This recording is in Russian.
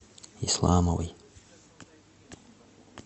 исламовой